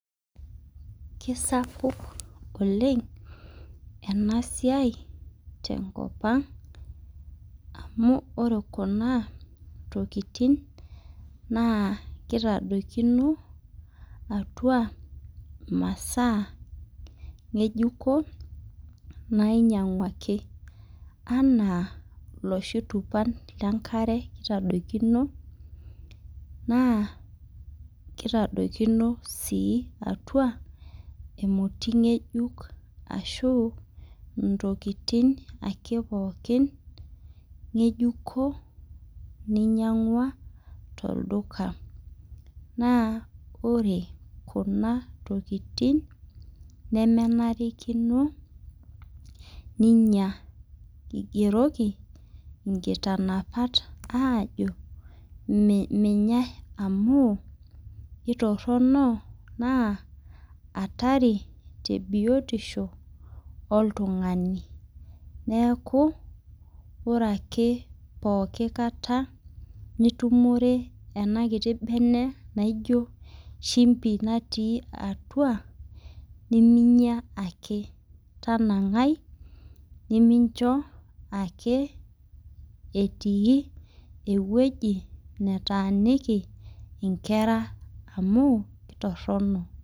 Kisapuk oleng ena siai te nkop ang amu koree tokitin naa kitadokino atua maasa ngejuko nainyang'uaki anaa loshi tupan lee nkare kitadokino naa kitadokino sii atua emoti ngejuk ashu ntokitin ake pookin ngejuko ninyang'ua tolduka. Naa ore kuna tokitin nemenarikino ninya igiroki inkitanapat ajo menyae amu itoronok naa hatari tee biotisho iltunga. Neeku ore ake pookin kataa nitumore ena kiti bene naijo shimbi natii atua neminya ake tanang'ai nemincho ake etii eweji nataniki inkera amu kitorono.